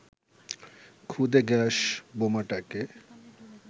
খুদে গ্যাস বোমাটাকে